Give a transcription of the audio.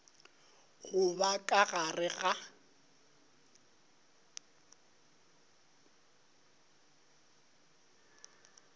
go ba ka gare ga